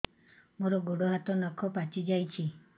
ମୋର ଗୋଡ଼ ହାତ ନଖ ପାଚି ଯାଉଛି